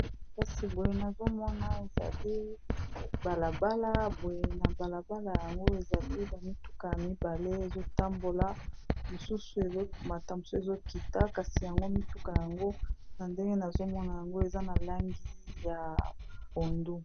kasi boye nazomona ezali balabala boye na balabala yango ezali bamituka ya mibale ezotambola mosusu ezomata msu ezokita kasi yango mituka yango na ndenge nazomona yango eza na langi ya ondu